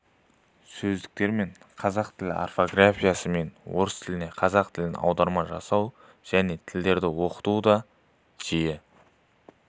сөздіктермен қазақ тілі орфографиясы мен орыс тілінен қазақ тіліне аударма жасау және тілдерді оқытуда жиі